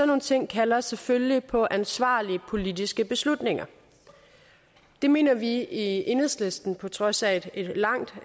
nogle ting kalder selvfølgelig på ansvarlige politiske beslutninger det mener vi i enhedslisten på trods af et langt